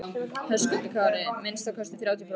Höskuldur Kári: Minnsta kosti þrjátíu prósent?